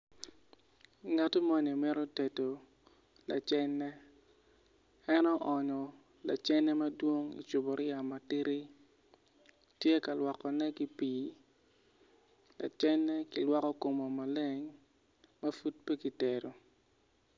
Ngato moni mito tedo lacene en onyo lacene madwong icupuriya matidi tye ka lwokone ki pii lacene kilwoko kome maleng ma pud pe kitedo.